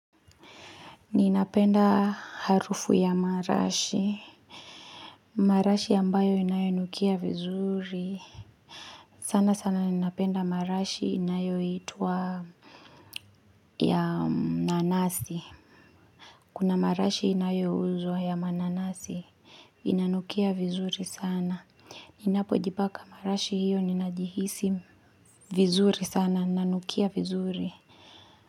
Ninapenda harufu ya marashi marashi ambayo inayo nukia vizuri sana sana ninapenda marashi inayo itwa ya nanasi Kuna marashi inayo uzwa ya mananasi Inanukia vizuri sana Ninapo jipaka marashi hiyo ninajihisi vizuri sana nanukia vizuri.